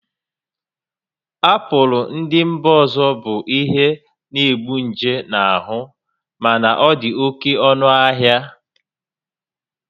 Apụl ndị mba ọzọ bụ ihe na-egbu nje na ahụ mana ọ dị oke ọnụ ahịa